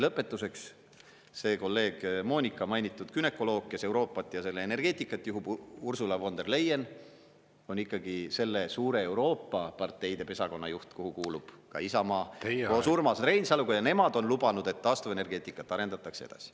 " Lõpetuseks, see kolleeg Moonika mainitud günekoloog, kes Euroopat ja selle energeetikat juhib, Ursula von der Leyen, on ikkagi selle suure Euroopa parteide pesakonna juht, kuhu kuulub ka Isamaa koos Urmas Reinsaluga, ja nemad on lubanud, et taastuvenergeetikat arendatakse edasi.